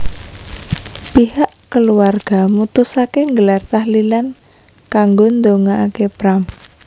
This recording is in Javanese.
Pihak keluarga mutusaké nggelar tahlilan kanggo ndongakaké Pram